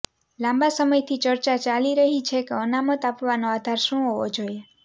લાંબા સમયથી ચર્ચા ચાલી રહી છે કે અનામત આપવાનો આધાર શું હોવો જોઈએ